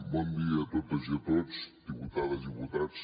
bon dia a totes i a tots diputades diputats